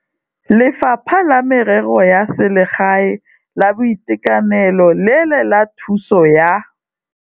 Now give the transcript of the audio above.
Lefapha la Merero ya Selegae, la Boitekanelo le la Thuso ya.